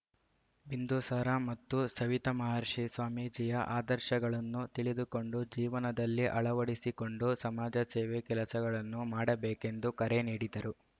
ಬಿಂದುಸಾರ ಮತ್ತು ಸವಿತಮಹರ್ಷಿ ಸ್ವಾಮೀಜಿಯ ಆದರ್ಶಗಳನ್ನು ತಿಳಿದುಕೊಂಡು ಜೀವನದಲ್ಲಿ ಅಳವಡಿಸಿಕೊಂಡು ಸಮಾಜಸೇವೆ ಕೆಲಸಗಳನ್ನು ಮಾಡಬೇಕೆಂದು ಕರೆ ನೀಡಿದರು